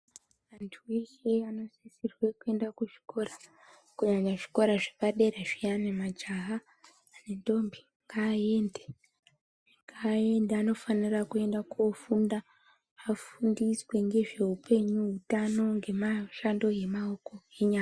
Anthu eshe anosisirwe kuende kuzvikora kunyanya zvikora zvepadera zviyani majaha nendombi ngaaende anofanira kuenda kofunda afundiswe ngezveupenyu utano ngemashando emaoko enyara.